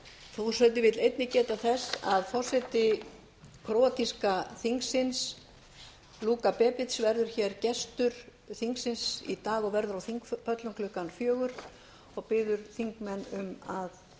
forseti vill einnig geta þess að forseti króatíska þingsins luka bebic verður gestur þingsins í dag hann verður á þingpöllum klukkan sextán og biður forseti þingmenn um að